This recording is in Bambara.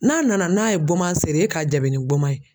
N'a nana n'a ye goman serin e k'a jaabi ni goman ye